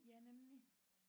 Ja nemlig